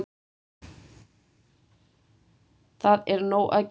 Það er nóg að gera!